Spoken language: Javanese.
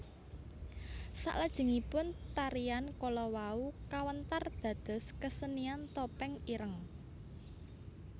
Salajengipun tarian kala wau kawentar dados kesenian Topeng Ireng